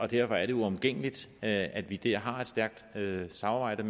derfor er det uomgængeligt at vi der har et stærkt samarbejde